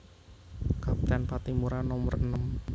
Kapten Patimura nomer enem